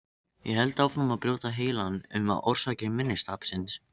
Ég held áfram að brjóta heilann um orsakir minnistapsins.